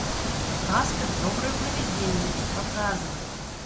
каспер доброе приведение показывай